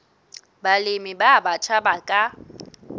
balemi ba batjha ba ka